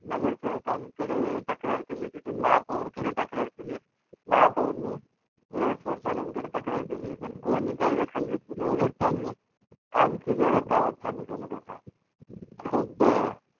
नगरसेवकांकडे तक्रार केली तेथून महापौराकडे तक्रार केली महापौरनी air force वाल्यांकडे तक्रार केली, पण कोणी काही दखल घेतली नाही, उलट त्यांनी आणखी जोरात आवाज चालू केला त्याचा खूप